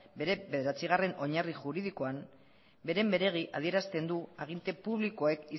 bere bederatzigarren oinarri juridikoan beren beregi adierazten du aginte publikoek